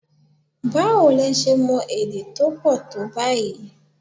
Báwo lo ṣe mọ èdè tó pọ̀ tó báyìí?